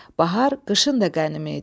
Bahar qışın da qənimi idi.